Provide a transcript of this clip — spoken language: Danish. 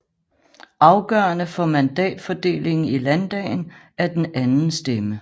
Afgørende for mandatfordelingen i landdagen er den anden stemme